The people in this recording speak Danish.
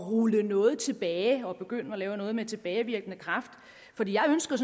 rulle noget tilbage og begynde at lave noget med tilbagevirkende kraft for jeg ønsker